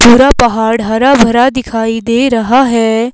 पूरा पहाड़ हरा भरा दिखाई दे रहा है।